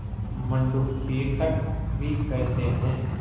मंडूक तीर्थक भी कहते हैं